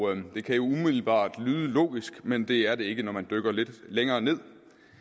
det kan jo umiddelbart lyde logisk men det er det ikke når man dykker lidt længere ned